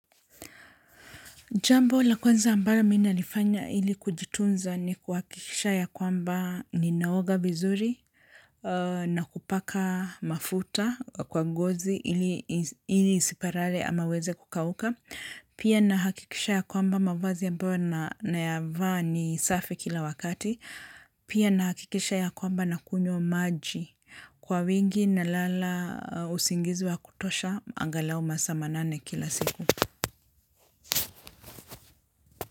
Jambo la kwanza ambayo mi ina nifanya ili kujitunza ni kuhakikisha ya kwamba ni naoga vizuri na kupaka mafuta kwa ngozi ili isiparare ama iweze kukauka. Pia nahakikisha ya kwamba mavazi ambayo naya vaa ni safi kila wakati. Pia na hakikisha ya kwamba na kunywa maji kwa wingi na lala usingizi wa kutosha angalau masaa manane kila siku.